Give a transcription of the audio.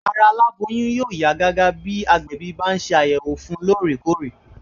Ara aláboyún yóò yá gágá bí agbẹ̀bí bá ń ṣe àyẹ̀wò fun lóòrè kóòrè